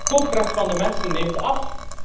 De koopkracht van de mensen neemt af.